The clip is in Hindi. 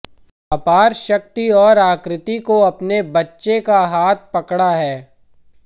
अपारशक्ति और आकृति को अपने बच्चे का हाथ पकड़ा है